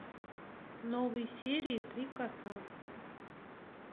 новые серии три кота